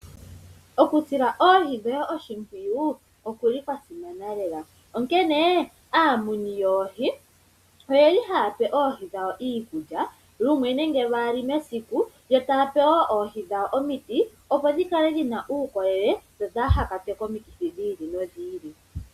Okusila oohi dhoye oshimpwiyu okuli kwasimana lela onkene aamuni yoohi oye li haya pe oohi dhawo iikulya lumwe nenge lwaali mesiku yo taya pe wo oohi dhawo omiti opo dhi kale dhi na uukolele dho kaadhi kwatwe komikithi dhi ili nodhi ili.